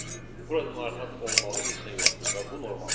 Burada narahat olmalı heç nə yoxdur və bu normaldır.